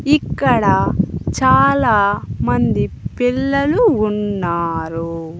ఇక్కడ చాలా మంది పిల్లలు ఉన్నారు.